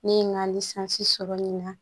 Ne ye n ka sɔrɔ nin na